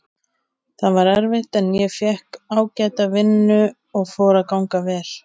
Það var erfitt en ég fékk ágæta vinnu og fór að ganga vel.